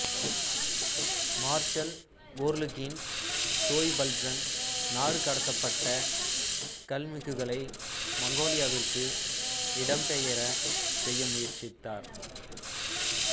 marshal Khorloogiin Choibalsan நாடுகடத்தப்பட்ட கல்மிக்குகளை மங்கோலியாவிற்கு இடம் பெயரச் செய்ய முயற்சித்தார்